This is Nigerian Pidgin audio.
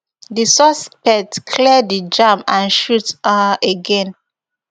di suspect clear di jam and shoot um again